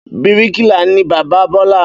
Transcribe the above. Bíríkìlà ni bàbá Bọ́lá.